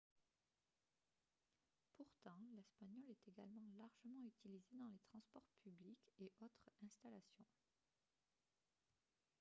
pourtant l'espagnol est également largement utilisé dans les transports publics et autres installations